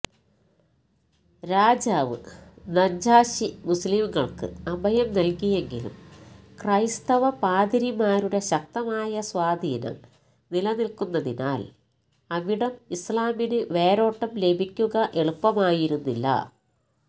രാജാവ് നജ്ജാശി മുസ്ലിംകള്ക്ക് അഭയം നല്കിയെങ്കിലും ക്രൈസ്തവ പാതിരിമാരുടെ ശക്തമായ സ്വാധീനം നിലനില്ക്കുന്നതിനാല് അവിടം ഇസ്ലാമിന് വേരോട്ടം ലഭിക്കുക എളുപ്പമായിരുന്നില്ല